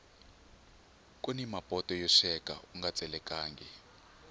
kuni mapoto yo sweka unga tselekangi